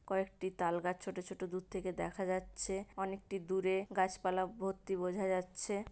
কয়েকটি তালগাছ ছোট ছোট দূর থেকে দেখা যাচ্ছে। অনেকটি দূরে গাছপালা ভর্তি বোঝা যাচ্ছে